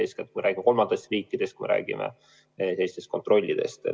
Eeskätt me räägime kolmandatest riikidest, me räägime teistest kontrollidest.